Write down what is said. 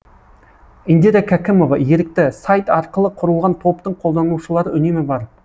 индира кәкімова ерікті сайт арқылы құрылған топтың қолданушылары үнемі бар